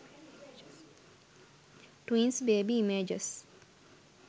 twins baby images